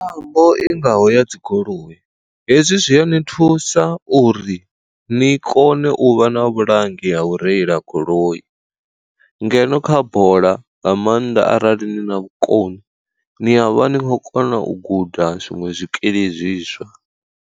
Mitambo i ngaho ya dzigoloi, hezwi zwi ya ni thusa uri ni kone u vha na vhulangi ha u reila goloi, ngeno kha bola nga maanḓa arali ni na vhukoni ni vha ni khou kona u guda zwiṅwe zwikili zwiswa.